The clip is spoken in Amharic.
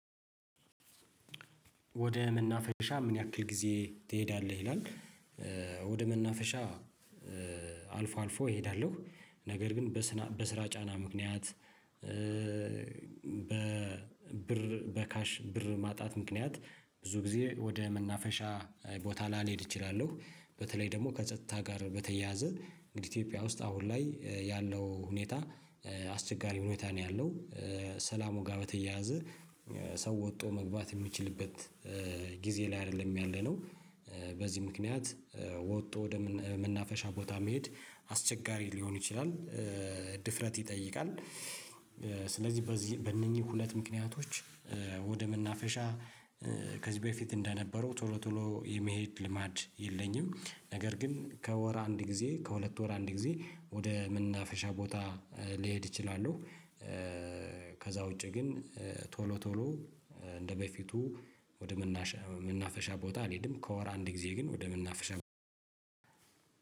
ወደ መናፈሻ ምን ያህል ጊዜ ትሄዳለህ? ይላል ወደ መናፈሻ አልፎ አልፎ እሄዳለሁ። ነገር ግን በስራ ጫና ምክንያት በብር በካሽ ብር ማጣት ምክንያት ብዙ ጊዜ ወደ መናፈሻ ቦታ ላልሄድ እችላለሁ በተለይ ደግሞ ከጸጥታ ጋር በተያያዘ እንግዲህ ኢትዮጵያ ውስጥ አሁን ላይ ያለው ሁኔታ አሰጋች ሁኔታ ነው ያለው ሰላሙ ጋር በተያያዘ ሰው ወጥቶ መግባት የሚችልበት ጊዜ ላይ አይደለም ያለነው በዚህ ምክንያት ወጥቶ ወደ መናፈሻ ቦታ መሄድ አስቸጋሪ ሊሆን ይችላል። ድፍረት ይጠይቃል ስለዚህ በነዚህ ሁለት ምክንያቶች ወደ መናፈሻ ከዚህ በፊት እንደነበረው ቶሎ ቶሎ የመሄድ ልምድ የለኝም ነገር ግን ከወር አንድ ጊዜ ከሁለት ወር አንድ ጊዜ ወደ መናፈሻ ቦታ ሊሄድ እችላሉ፣ ከዚያ ውጭ ግን ቶሎ ቶሎ እንደ በፊቱ ወደ መናፈሻ ቦታ አልሄድም ነገር ግን ከወር አንድ ጊዜ ከሁለት ወር አንድ ጊዜ ሊሆን ይችላል የምሄደው